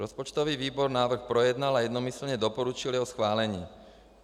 Rozpočtový výbor návrh projednal a jednomyslně doporučil jeho schválení.